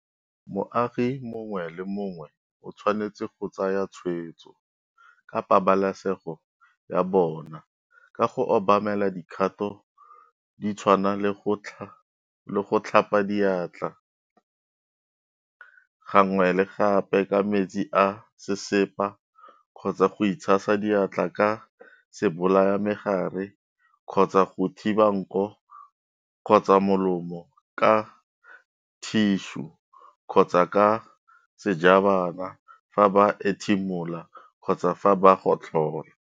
Moagi mongwe le mongwe o tshwanetse go tsaya tshwetso ka pabalesego ya bona ka go obamela dikgato di tshwana le go tlhapa diatla gangwe le gape ka metsi a sesepa kgotsa go itshasa diatla ka sebolayamegare kgotsa go thiba nko kgotsa molomo ka thišu kgotsa ka sejabana fa ba ethimola kgotsa fa ba gotlhola.